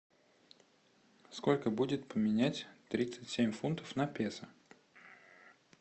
сколько будет поменять тридцать семь фунтов на песо